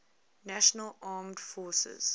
national armed forces